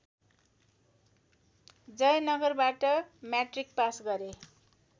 जयनगरबाट matric pass गरे